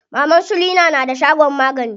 Maman su leena na da shagon magani.